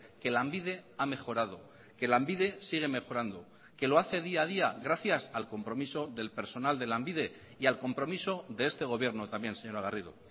que lanbide ha mejorado que lanbide sigue mejorando que lo hace día a día gracias al compromiso del personal de lanbide y al compromiso de este gobierno también señora garrido